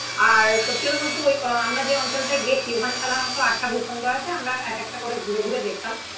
আর সত্যি কথা বলতে ওই আমরা যে অঞ্চলটায় গেছি ওখানে সাধারণত আটটা ভূখণ্ড আছে আমরা এক একটা করে ঘুরে ঘুরে দেখতাম.